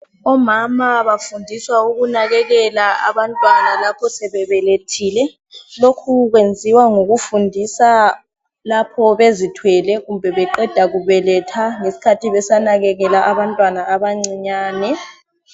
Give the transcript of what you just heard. Omama bafundiswe ukunakekela abantwana lapho sebebelethile. Lokhu kwenziwe ngokufundisa lapho bezithwele kumbe beqeda kubeletha besanakekela abantwana abancinyane.